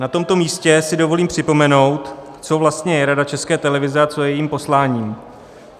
Na tomto místě si dovolím připomenout, co vlastně je Rada České televize a co je jejím posláním.